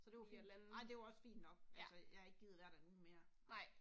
Så det var fint, ej det var også fint nok, altså jeg havde ikke gidet være der en uge mere